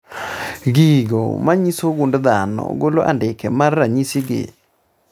Gigo manyiso gund dhano golo andike mar ranyisi gi